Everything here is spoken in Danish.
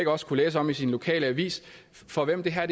også kunne læse om sin lokalavis for hvem det her